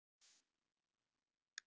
Ég ætla að fá tvo miða.